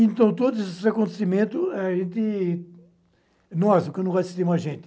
Então, todos esses acontecimento a gente, nós porque eu não gosto de mais gente.